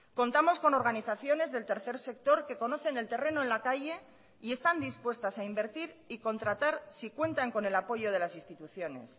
contamos con organizaciones del tercer sector que conocen el terreno en la calle y están dispuestas a invertir y contratar si cuentan con el apoyo de las instituciones